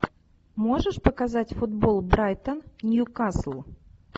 можешь показать футбол брайтон ньюкасл